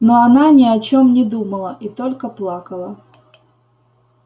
но она ни о чём не думала и только плакала